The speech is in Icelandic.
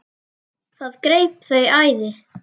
Það greip þau æði.